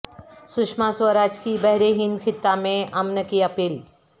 سشما سوراج کی بحر ہند خطہ میں امن کی اپیل